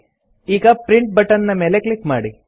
ಈಗ print button ನ ಮೇಲೆ ಕ್ಲಿಕ್ ಮಾಡಿ